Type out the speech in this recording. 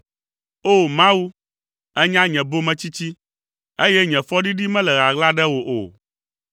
O! Mawu, ènya nye bometsitsi, eye nye fɔɖiɖi mele ɣaɣla ɖe wò o.